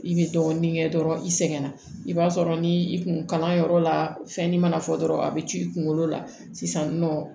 I bɛ dɔɔnin kɛ dɔrɔn i sɛgɛnna i b'a sɔrɔ ni i kun kalan yɔrɔ la fɛn min mana fɔ dɔrɔn a bɛ c'i kunkolo la sisan nɔ